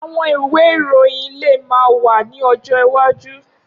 Awọn iwe iroyin le ma wa ni ọjọ iwaju.